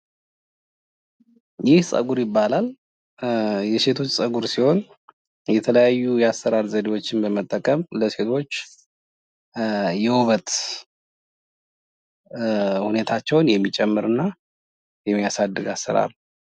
ይህ ፀጉር ይባላል። የሴቶች ፀጉር ሲሆን የተለያዩ የአሰራር ዘዴዎችን በመጠቀም ለሴቶች የውበት ሁኔታቸውን የሚጨምርና የሚያሳድግ አሰራር ነው።